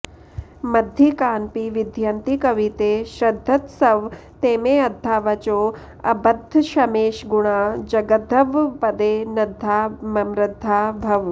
मद्धीकानपि विद्धयन्ति कविते श्रद्धत्स्व तेमेऽद्धावचोऽ बद्धक्ष्मेशगुणा जगद्धवपदे नद्धा ममृद्धा भव